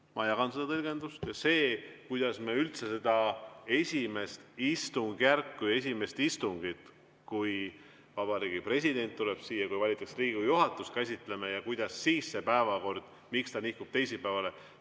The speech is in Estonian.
Ma jagan seda tõlgendust, kuidas me üldse käsitleme seda esimest istungjärku ja esimest istungit, kui Vabariigi President tuleb siia ja kui valitakse Riigikogu juhatus, ja miks siis see päevakord nihkub teisipäevale.